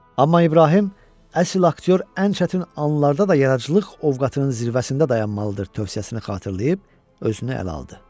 Amma İbrahim, əsl aktyor ən çətin anlarda da yaradıcılıq ovqatının zirvəsində dayanmalıdır tövsiyəsini xatırlayıb, özünü ələ aldı.